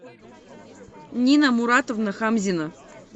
нина муратовна хамзина